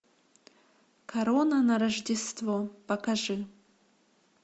корона на рождество покажи